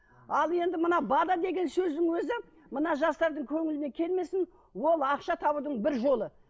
ал енді мына деген сөздің өзі мына жастардың көңіліне келмесін ол ақша табудың бір жолы